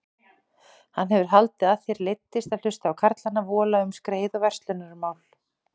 Hann hefur haldið að þér leiddist að hlusta á karlana vola um skreið og verslunarmál.